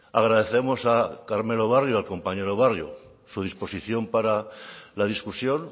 agradecemos a carmelo barrio al compañero barrio su disposición para la discusión